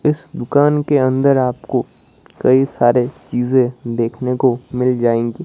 इस दुकान के अंदर आपको कई सारे चीजे देखने को मिल जाएंगी।